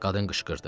Qadın qışqırdı.